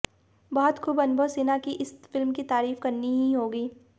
बहुत खूब अनुभव सिन्हा की इस फिल्म की तारीफ करनी ही होगी